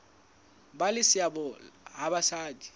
ba le seabo ha basadi